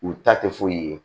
U ta tɛ foyi ye